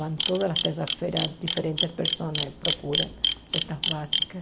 Vão todas as terças-feiras, diferentes pessoas procuram cestas básicas.